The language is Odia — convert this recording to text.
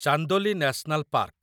Chandoli national park